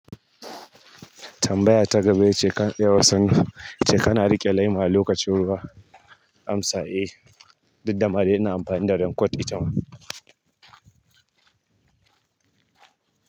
Tambaya ta gaba yace kan, ce kana riƙe laima a lokacin ruwa. Amsa, eh, duk dama dai na amfani da raincoat ita ma.